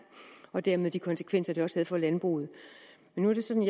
og dermed de konsekvenser den også havde for landbruget men nu er det sådan